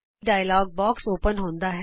ਇਕ dialog box ਖੁਲ੍ਹਦਾ ਹੈ